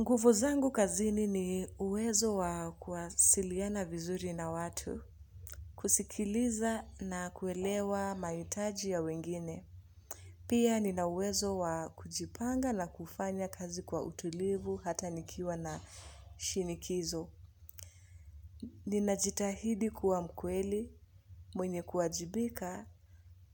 Nguvu zangu kazini ni uwezo wa kuwasiliana vizuri na watu, kusikiliza na kuelewa mahitaji ya wengine. Pia nina uwezo wa kujipanga na kufanya kazi kwa utulivu hata nikiwa na shinikizo. Nina jitahidi kuwa mkweli, mwenye kuajibika